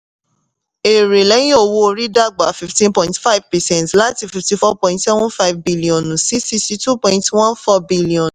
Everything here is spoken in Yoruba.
èrè lẹ́yìn owó orí dàgbà fifteen point five percent láti fifty-four point seven five biliọ̀nù sí sixty-two point one four billion